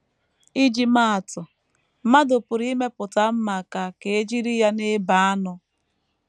Iji maa atụ: Mmadụ pụrụ imepụta mma ka ka e jiri ya na - ebe anụ.